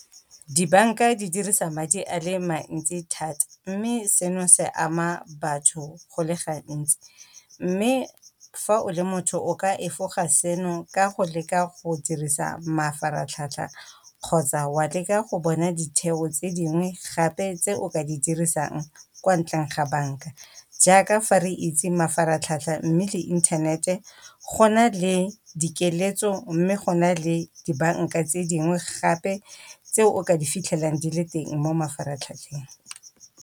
Dibanka di dirisa madi a le mantsi thata mme seno se ama batho go le gantsi mme fa o le motho o ka efoga seno ka go leka go dirisa mafaratlhatlha kgotsa wa leka go bona ditheo tse dingwe gape tse o ka di dirisang kwa ntleng ga banka. Jaaka fa re itse mafaratlhatlha mme le inthanete go na le dikeletso mme go na le dibanka tse dingwe gape tse o ka di fitlhelang di le teng mo mafaratlhatlheng.